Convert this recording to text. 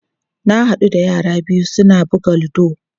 Na haɗu da yara biyu su na buga ludo.